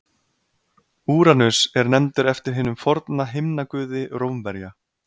Úranus er nefndur eftir hinum forna himnaguði Rómverja.